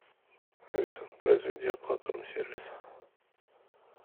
алиса произведи оплату рум сервиса